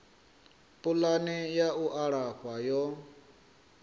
pulani ya u alafha yo